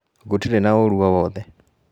Gũtirĩ na ũru o wothe.